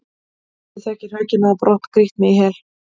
hefðu þau ekki hrakið mig á brott, grýtt mig í hel?